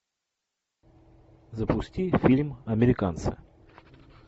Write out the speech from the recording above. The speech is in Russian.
запусти фильм американцы